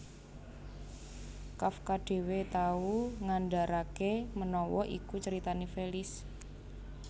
Kafka dhéwé tau ngandharaké menawa iku caritané Felice